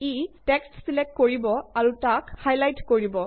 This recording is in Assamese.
ই টেক্সট ছিলেক্ট কৰিব আৰু তাক হাইলাইট কৰিব